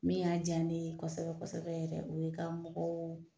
Min y'a diya ne kosɛbɛ kosɛbɛ yɛrɛ o ye ka mɔgɔw